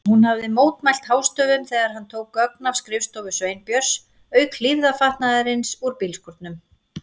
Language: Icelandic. Hún hafði mótmælt hástöfum þegar hann tók gögn af skrifstofu Sveinbjörns, auk hlífðarfatnaðarins úr bílskúrnum.